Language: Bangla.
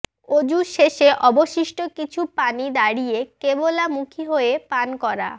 ওজু শেষে অবশিষ্ট কিছু পানি দাঁড়িয়ে কেবলা মুখী হয়ে পান করা